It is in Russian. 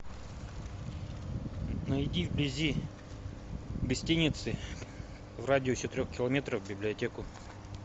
найди вблизи гостиницы в радиусе трех километров библиотеку